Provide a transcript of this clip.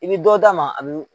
I bi dɔ d'a ma a bi